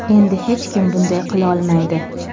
Endi hech kim bunday qilolmaydi.